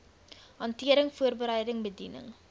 hantering voorbereiding bediening